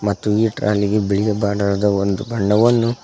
ಮತ್ತು ಈ ಟ್ರಾಲಿ ಬಿಳಿಯ ಬಣ್ಣದ ಒಂದು ಬಣ್ಣವನ್ನು--